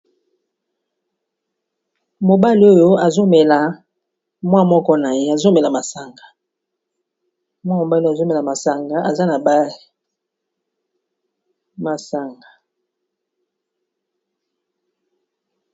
Mobale oyo azomela mwa moko na ye azomela masanga mwa mobale azomela masanga aza na bae masanga.